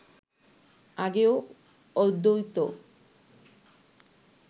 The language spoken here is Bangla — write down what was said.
আগেও অদ্বৈত